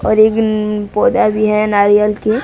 और एक न पौधा भी है नारियल के--